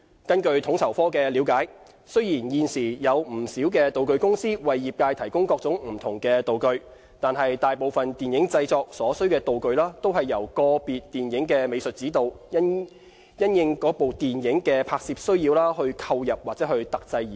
根據統籌科的了解，雖然現時有不少道具公司為業界提供各種不同的道具，但大部分電影製作所需的道具均是由個別電影的美術指導，因應該電影的拍攝需要而購入或特製而成。